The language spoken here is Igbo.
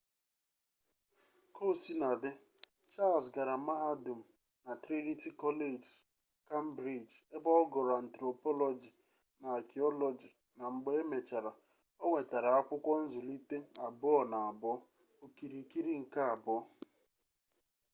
kaosinadị charles gara mahadum na trinity college cambridge ebe ọ gụrụ anthropology na archaeology na mgbe e mechara ọ nwetara akwụkwọ nzụlite 2: 2 okirikiri nke abụọ